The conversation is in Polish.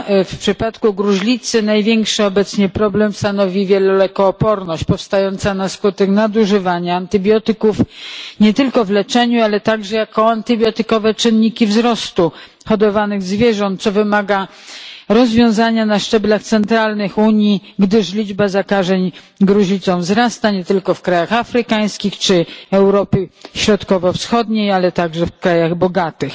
W przypadku gruźlicy największy obecnie problem stanowi wielolekooporność powstająca na skutek nadużywania antybiotyków nie tylko w leczeniu, ale także jako antybiotykowe czynniki wzrostu hodowanych zwierząt co wymaga rozwiązania na szczeblach centralnych Unii, gdyż liczba zakażeń gruźlicą wzrasta nie tylko w krajach afrykańskich czy Europy Środkowo Wschodniej, ale także w krajach bogatych.